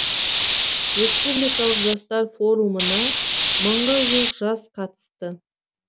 республикалық жастар форумына мыңға жуық жас қатысты